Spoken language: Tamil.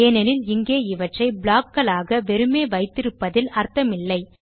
ஏனெனில் இங்கே இவற்றை ப்ளாக் களாக வெறுமே வைத்திருப்பதில் அர்த்தமில்லை